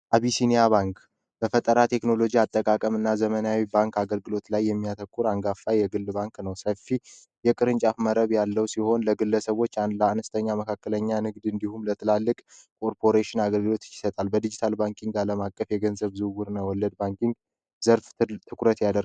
አቢሲኒያ ባንክ በፈጠራት ቴክኖሎጂ አጠቃቀምና አገልግሎት ላይ የሚያተኩር አንጋፋ የግል ባንክ ነው ሰፊ የቅርንጫፍ መሬት ያለው ሲሆን ለግለሰቦች እና ለአነስተኛ መለስተኛ ድርጅቶች እንዲሁም የንግድ ኮርፖሬሽን አገልግሎት ይሰጣል በዲጂታል አለም አቀፍ ወለድና የገንዘብ ዝውውር ዘርፍ ትልቅ ትኩረት ያደርጋል።